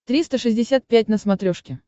триста шестьдесят пять на смотрешке